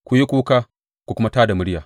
Ku yi kuka ku kuma tā da murya!